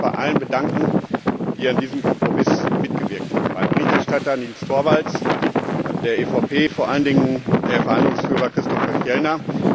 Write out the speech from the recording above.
Ich möchte mich bei allen bedanken, die an diesem Kompromiss mitgewirkt haben, beim Berichterstatter Nils Torvalds der EVP und vor allen Dingen beim Verhandlungsführer Christopher Fjellner.